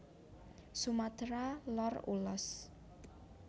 Sumatra Lor Ulos